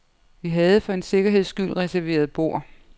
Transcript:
Vi havde for en sikkerheds skyld reserveret bord.